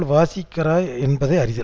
வாசிக்கிறதா என்பதை அறிதல்